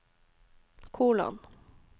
kolon